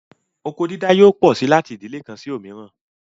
Oko dídá yóò pọ sí láti ìdílè kan sí òmíràn